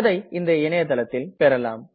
அதை இந்த இணையதளத்தில் பெறலாம்